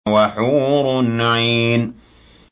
وَحُورٌ عِينٌ